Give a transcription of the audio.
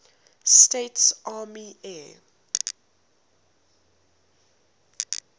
states army air